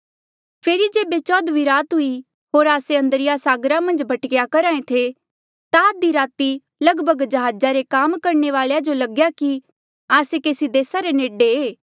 फेरी जेबे चौदहवीं रात हुई होर आस्से अद्रिया सागरा मन्झ भटकेया करहा ऐें थे ता आधी राती रे लगभग जहाजा रे काम करणे वाले जो लग्या कि आस्से केसी देसा रे नेडे ऐें